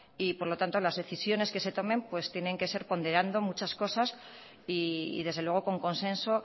por lo tanto las decisiones que se tomen tienen que ser ponderando muchas cosas y desde luego con consenso